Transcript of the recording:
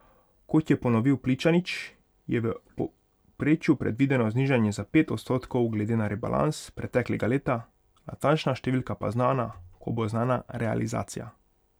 Kot je ponovil Pličanič, je v povprečju predvideno znižanje za pet odstotkov glede na rebalans preteklega leta, natančna številka pa znana, ko bo znana realizacija.